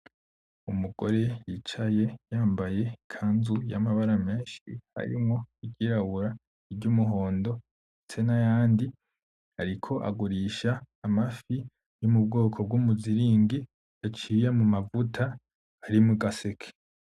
Umugore yicaye yambaye ikanzu y'amabara menshi harimwo iryirabura ; iryumuhondo ndetse nayandi ariko agurisha amafi yo mubwoko bw'umuziringi yaciye mumavuta ari mugaseke .